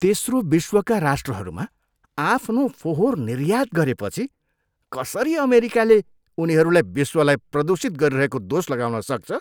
तेस्रो विश्वका राष्ट्रहरूमा आफ्नो फोहोर निर्यात गरेपछि कसरी अमेरिकाले उनीहरूलाई विश्वलाई प्रदूषित गरिरहेको दोष लगाउन सक्छ?